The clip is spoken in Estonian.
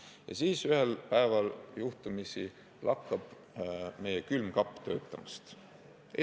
Aga oletame, et ühel päeval lakkab meil külmkapp töötamast.